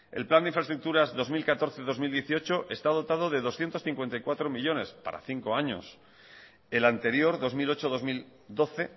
el plan de infraestructuras dos mil catorce dos mil dieciocho está dotado de doscientos cincuenta y cuatro millónes para cinco años el anterior dos mil ocho dos mil doce